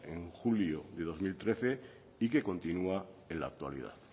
en julio de dos mil trece y que continúa en la actualidad